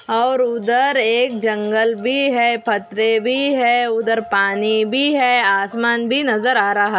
और उधर एक जंगल भी है पथरे भी है उधर पानी भी है आसमान भी नजर आ रहा है।